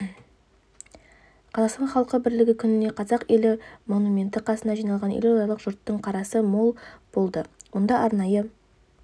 қазақстан халқы бірлігі күнінде қазақ елі монументі қасына жиналған елордалық жұрттың қарасы мол болды мұнда арнайы